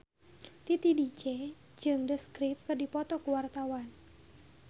Titi DJ jeung The Script keur dipoto ku wartawan